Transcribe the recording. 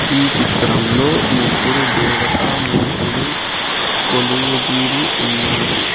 ఈ చిత్రంలో ముగ్గురు దేవతామూర్తులు కొలువుతీరి ఉన్నారు.